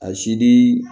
A sidi